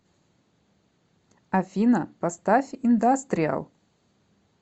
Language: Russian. афина поставь индастриал